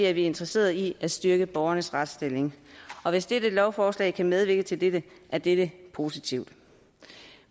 er vi interesserede i at styrke borgernes retsstilling og hvis dette lovforslag kan medvirke til dette er det positivt